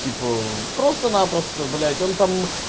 типо просто-напросто блять он там